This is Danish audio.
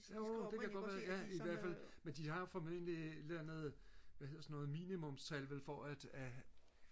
jo det kan godt være ja i hvertfald men de har jo formentlig et eller andet hvad hedder sådan noget minimumstal vel for at at